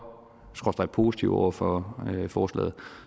skråstreg positive over for forslaget